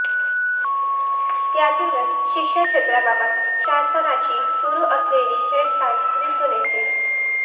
यातूनच शिक्षण क्षेत्राबाबत शासनाची सुरू असलेली हेळसांड दिसून येते